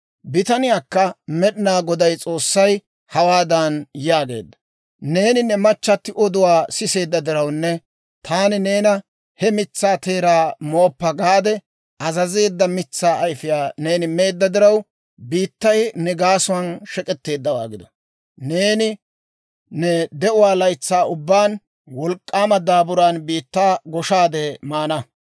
Bitaniyaakka Med'inaa Goday S'oossay hawaadan yaageedda; «Neeni ne machchatti oduwaa siseedda dirawunne taani neena, ‹He mitsaa teeraa mooppa› gaade azazeedda mitsaa ayfiyaa neeni meedda diraw, biittay ne gaasuwaan shek'etteeddawaa gido! Neeni ne de'uwaa laytsaa ubbaan wolk'k'aama daaburan biittaa goshaadde maana.